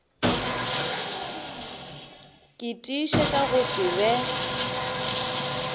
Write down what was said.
ke tiišetša go se be